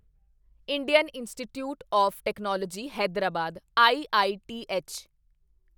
Indian Institute of Technology Hyderabad IITH